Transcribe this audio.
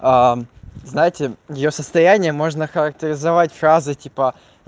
знаете я её состоянии можно охарактеризовать фразой типа